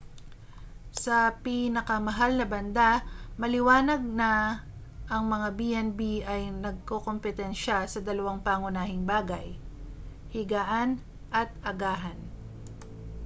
sa pinakamahal na banda maliwanag na ang mga b&b ay nagkokompetensya sa dalawang pangunahing bagay higaan at agahan